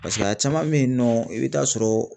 Paseke a caman bɛ yen nɔ i bɛ taa sɔrɔ